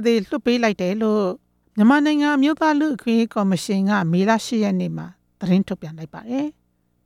သေလွှတ်လိုက်တယ်လို့ မြန်မာနိုင်ငံလူ့အခွင့်အရေး ကော်မရှင်က မေလ ၈ ရက်နေ့က သတင်းထုတ်ပြန်ခဲ့ပါတယ်။